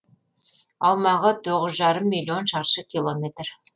аумағы тоғыз жарым миллион шаршы километр